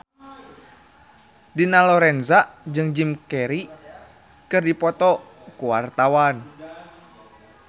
Dina Lorenza jeung Jim Carey keur dipoto ku wartawan